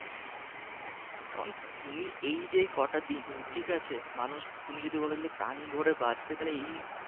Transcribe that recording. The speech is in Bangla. এখন তুমি এই যে কটা দিন ঠিক আছে মানুষ তুমি যদি বলো প্রাণভরে বাঁচতে তাহলে এই